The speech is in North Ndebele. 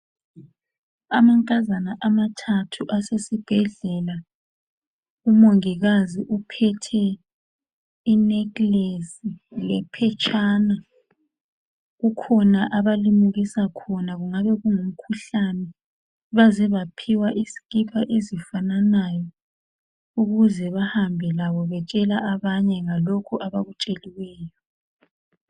Amankazana amathathu asesibhedlela. Umongikazi uphethe i necklace lephetshana. Kukhona abalimukisa khona, kungabe kungumkhuhlane. Baze baphiwa izikipa ezifananayo ukuze bahambe labo betshela abanye abakutsheliweyo.